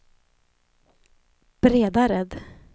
Bredared